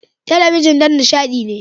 Talabijin don nishaɗi ne.